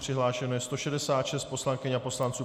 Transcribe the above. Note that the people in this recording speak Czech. Přihlášeno je 166 poslankyň a poslanců.